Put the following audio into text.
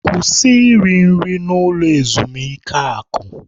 Kwụsị iri nri na ulo ezimuike akụ!